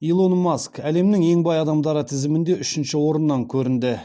илон маск әлемнің ең бай адамдары тізімінде үшінші орыннан көрінді